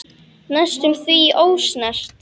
Næstum því ósnert.